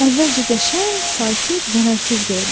Əvvəlcə qəşəng, sakit, zərərsiz görünür.